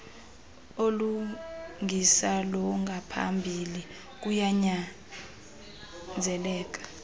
olungisa longaphambili kuyanyanzeleka